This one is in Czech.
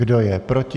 Kdo je proti?